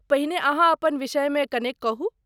पहिने अहाँ अपना विषयमे कनेक कहू।